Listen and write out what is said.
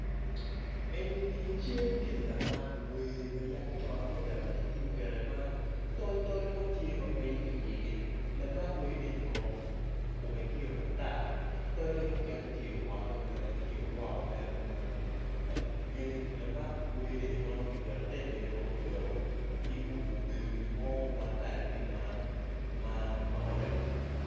Eni ni cal gin lamak wer ma yang con adada ma ki tiyo kede ma tol tol mo tye mangweco ki iye lamak wer eni kono kome tye matar tole mukene tye owote bene tyeo woko mere kumeno lamak wer eni tep eni kono kiketo obedo i wi gin mo ma kalane tye ma orange